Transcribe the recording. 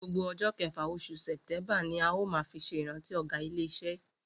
Gbogbo o̩jó̩ ke̩fà, os̩ù Sè̩té̩ḿbà ni a óò máa fi s̩e ìrántí ò̩gá ilé is̩e yìí